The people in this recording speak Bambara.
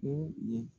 U ye